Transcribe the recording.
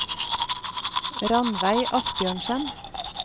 Ranveig Asbjørnsen